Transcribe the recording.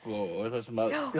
þar sem